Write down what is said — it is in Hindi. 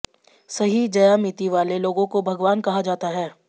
सही ज्यामिति वाले लोगों को भगवान कहा जाता है